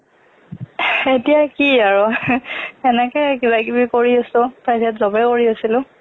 এতিয়া কি আৰু তেনেকেই কিবা কিবি আছো private job এই কৰি আছিলোঁ